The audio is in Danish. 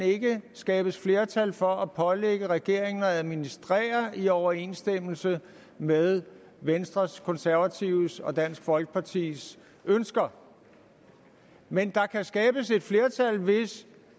skabes flertal for at pålægge regeringen at administrere i overensstemmelse med venstres konservatives og dansk folkepartis ønsker men der kan skabes flertal hvis